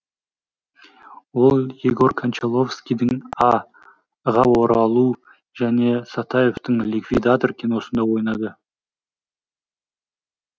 ол егор кончаловскийдің а ға оралу және сатаевтың ликвидатор киносында ойнады